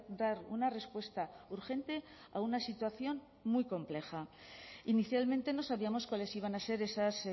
dar una respuesta urgente a una situación muy compleja inicialmente no sabíamos cuáles iban a ser esas